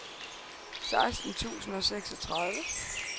seksten tusind og seksogtredive